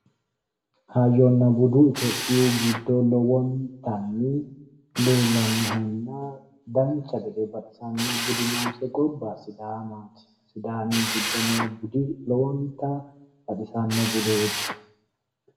Hayyonna budu itophiyu giddo lowontanni leellanohonna dancha gede baxisano budi noose gobba sidaamati ,sidaami giddo noo budi lowonta baxisano budeeti.